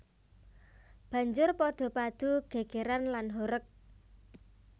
Banjur padha padu gègèran lan horeg